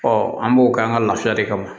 an b'o k'an ka laafiya de kama